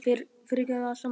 Fyrirgefðu allt saman.